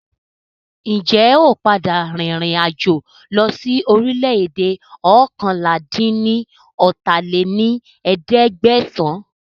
Ń jẹ́ ó padà rìn ìrìn àjò lọ sí orílẹ̀ èdè oókànlá-dín-ní-ọ́ta lé ní ẹ̀ẹ́dẹ́gbẹ́sán